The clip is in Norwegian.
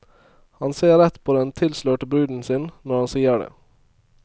Han ser rett på den tilslørte bruden sin når han sier det.